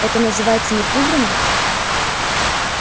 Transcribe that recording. это называется не прибрано